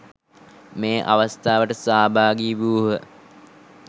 මේ අවස්ථාවට සහභාගී වූහ.